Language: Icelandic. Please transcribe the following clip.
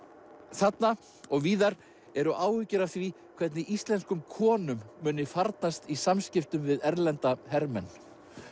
þarna og víðar eru áhyggjur af því hvernig íslenskum konum muni farnast í samskiptum við erlenda hermenn